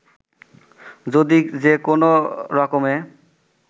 যদি যে কোনো রকমে